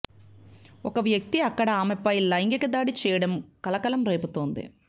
ఒక వ్యక్తి అక్కడ ఆమెపై లైంగికదాడి చేయడం కలకలం రేపుతోంది